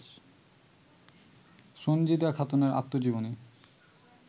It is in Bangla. সন্জীদা খাতুনের আত্মজীবনী